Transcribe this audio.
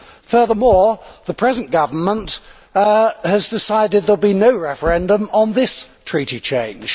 Furthermore, the present government has decided there will be no referendum on this Treaty change.